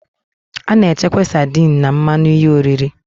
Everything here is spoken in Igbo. A na-echekwa sardines na mmanụ ihe oriri